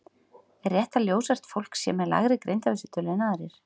Er rétt að ljóshært fólk sé með lægri greindarvísitölu en aðrir?